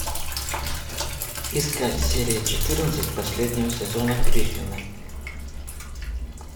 искать серия четырнадцать последнего сезона гриффины